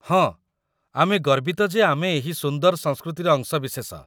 ହଁ, ଆମେ ଗର୍ବିତ ଯେ ଆମେ ଏହି ସୁନ୍ଦର ସଂସ୍କୃତିର ଅଂଶବିଶେଷ